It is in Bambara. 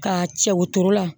Ka cɛ wotoro la